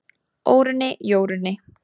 Órunni, Jórunni,